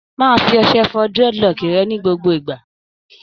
Máa fi ọṣẹ fọ dreadlock rẹ ni gbogbo ìgbà!